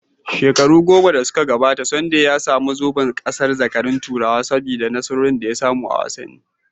Shekaru goma da suka gabata, Sunday ya sami zoben gasar zakarun Turai saboda nasarorin da ya samu a wasanni.